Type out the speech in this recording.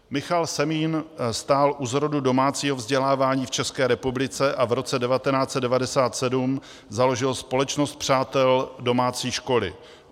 Michal Semín stál u zrodu domácího vzdělávání v České republice a v roce 1997 založil Společnost přátel domácí školy.